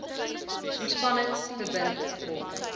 ontspanning verbind hom